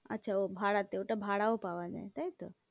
আচ্ছা ও ভাড়াতে, ওটা ভাড়াও পাওয়া যায় তাই তো?